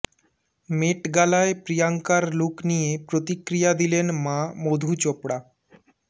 মেট গালায় প্রিয়াঙ্কার লুক নিয়ে প্রতিক্রিয়া দিলেন মা মধু চোপড়া